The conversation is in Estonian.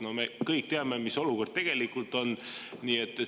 No me kõik teame, mis olukord tegelikult on.